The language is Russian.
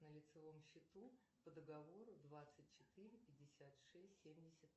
на лицевом счету по договору двадцать четыре пятьдесят шесть семьдесят